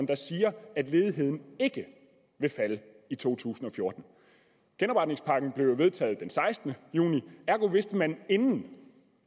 der siger at ledigheden ikke vil falde i to tusind og fjorten genopretningspakken blev jo vedtaget den sekstende juni ergo vidste man inden